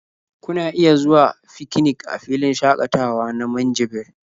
Kuna iya zuwa fikinik a filin shaƙatawa na Minjibir.